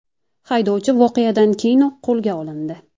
Haydovchi voqeadan keyinoq qo‘lga olindi.